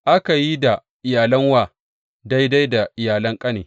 Aka yi da iyalan wa daidai da iyalan ƙane.